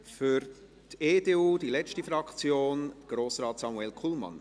Für die EDU, die letzte Fraktion, Grossrat Samuel Kullmann.